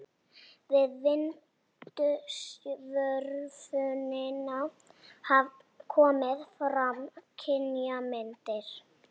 Við vindsvörfunina hafa komið fram kynjamyndir.